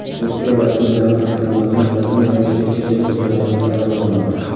Turkiya rasmiylari Hukumatdan rasmiy ravishda kechirim so‘rashni talab qilmoqda.